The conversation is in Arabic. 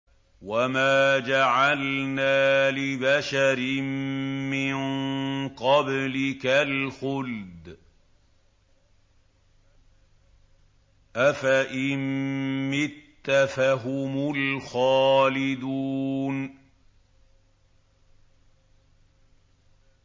وَمَا جَعَلْنَا لِبَشَرٍ مِّن قَبْلِكَ الْخُلْدَ ۖ أَفَإِن مِّتَّ فَهُمُ الْخَالِدُونَ